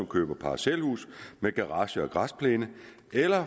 køber parcelhus med garage og græsplæne eller